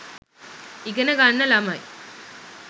ඉගෙන ගන්න ළමයි